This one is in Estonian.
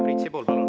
Priit Sibul, palun!